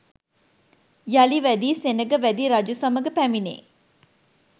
යළි වැදි සෙනඟ වැදි රජු සමග පැමිණේ.